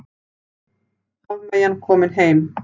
Hafmeyjan komin heim